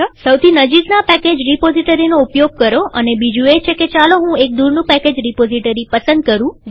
સૌથી નજીકના પેકેજ રીપોઝીટરીનો ઉપયોગ કરોઅને બીજું એ છે કે ચાલો હું એક દુરનું પેકેજ રીપોઝીટરી પસંદ કરું